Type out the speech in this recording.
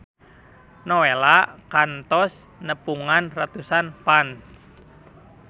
Nowela kantos nepungan ratusan fans